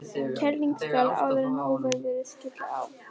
Kerlingarskarð áður en óveðrið skylli á.